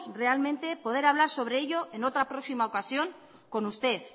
realmente poder hablar sobre ello en otra próxima ocasión con usted